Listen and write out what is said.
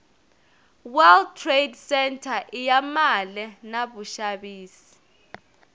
world trade centre iyamale navushavisi